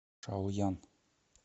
шаоян